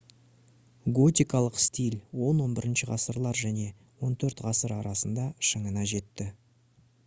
готикалық стиль 10-11 ғасырлар және 14-ғасыр арасында шыңына жетті